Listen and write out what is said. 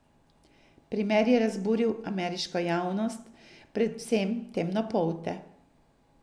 Primer je razburil ameriško javnost, predvsem temnopolte.